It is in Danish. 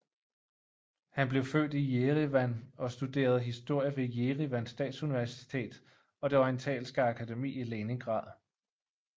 Han blev født i Jerevan og studerede historie ved Jerevan Statsuniversitet og det Orientalske Akademi i Leningrad